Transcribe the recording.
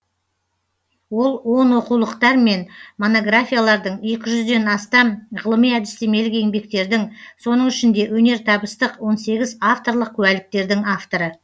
ол он оқулықтар мен монографиялардың екі жүзден астам ғылыми әдістемелік еңбектердің соның ішінде өнертабыстық он сегіз авторлық куәліктердің авторы